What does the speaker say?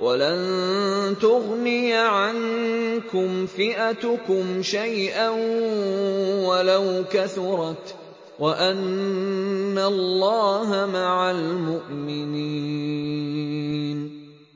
وَلَن تُغْنِيَ عَنكُمْ فِئَتُكُمْ شَيْئًا وَلَوْ كَثُرَتْ وَأَنَّ اللَّهَ مَعَ الْمُؤْمِنِينَ